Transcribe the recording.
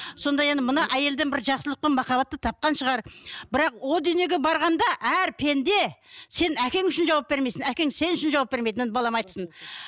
сонда енді мына әйелден бір жақсылық пен махаббатты тапқан шығар бірақ о дүниеге барғанда әр пенде сен әкең үшін жауап бермейсің әкең сен үшін жауап бермейді міне балам айтсын